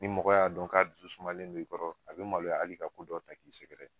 Ni mɔgɔ y'a dɔn k'a dusu sumalen don i kɔrɔ a be maloya hali ka ko dɔ ta k'i sɛgɛrɛ.